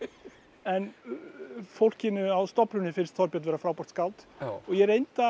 en fólkinu á stofnuninni finnst Þorbjörn vera frábært skáld og ég reyndi að